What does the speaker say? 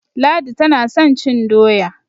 Ladi tana son cin doya.